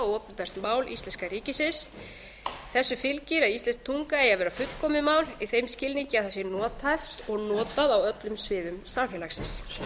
og opinbert mál íslenska ríkisins þessu fylgir að íslensk tunga eigi að vera fullkomið mál í þeim skilningi að það sé nothæft og notað á öllum sviðum samfélagsins